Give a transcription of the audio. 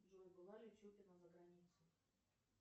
джой была ли чупина за границей